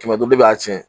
Kɛmɛ duuru de b'a tiɲɛ